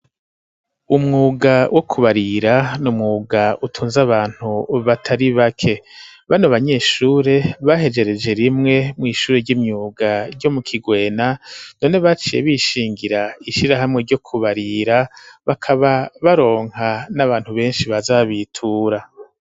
Umwuga wo kubarira n'umwuga utunze abantu batari bake bano abanyeshuri bahejereje rimwe mw'ishuri ry'imyuga ryo mu kigwena none baciye bishingira ishirahamwe ryo kubarira bakaba baronka n'abantu benshi bazabitura.